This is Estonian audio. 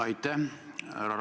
Aitäh!